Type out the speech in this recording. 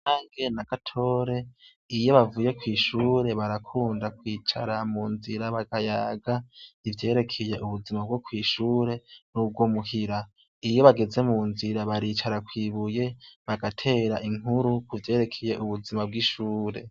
Kanyange na Gatore iyo bavuye kw'ishure barakunda kwicara mu nzira bakayaga ivyerekeye ubuzima bwo kw'ishure n'ubwo muhira. Iyo bageze mu nzira baricara kw'ibuye, bagatera inkuru kuvyerekeye ubuzima bw'ishure.